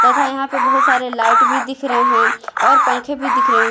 तथा यहां बहुत सारे लाईट भी दिख रहे हैं और पंखे भी दिख रहे हैं।